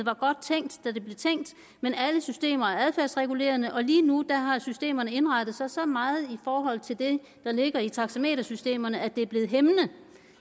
var godt tænkt da det blev tænkt men alle systemer er adfærdsregulerende og lige nu har systemerne indrettet sig så meget i forhold til det der ligger i taxametersystemerne at det er blevet hæmmende